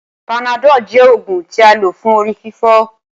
Panadol jẹ oògùn tí a lò fún orí-fífọ́